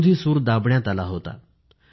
विरोधी सूर दाबण्यात आला होता